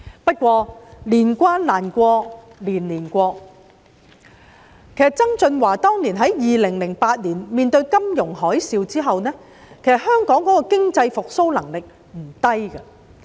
不過，"年關難過，年年過"，在2008年經歷金融海嘯後，香港的經濟復蘇能力不低。